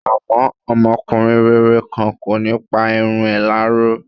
Àmọ́, ọmọkùnrin rere kan, kò ní pa irun ẹ̀ láró.